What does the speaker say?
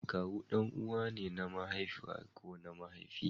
Kawu ɗan'uwa ne na mahaifiya ko mahaifi.